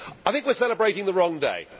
I think we are celebrating the wrong day.